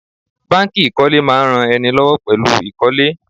Báńkì ìkólé ń máa ran ẹni lọ́wọ́ pẹ̀lú ìkólé.